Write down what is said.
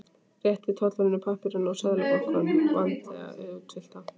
Rétti tollverðinum pappírana úr Seðlabankanum, vandlega útfyllta.